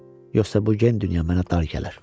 Yoxsa bu gen dünya mənə dar gələr.